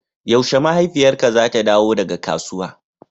yaushe mahaifiyarka zata dawo daga kasuwa?